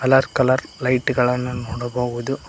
Colour colour light ಗಳನ್ನು ನೋಡಬಹುದು.